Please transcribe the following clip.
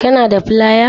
Kana da flaya?